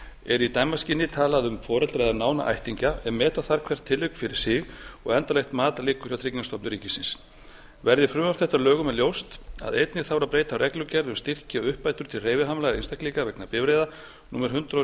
er í dæmaskyni talað um foreldra eða nána ættingja en meta þarf hvert tilvik fyrir sig og endanlegt mat liggur hjá tryggingastofnun ríkisins verði frumvarp þetta að lögum er ljóst að einnig þarf að breyta reglugerð um styrki og uppbætur til hreyfihamlaðra einstaklinga vegna bifreiða númer hundrað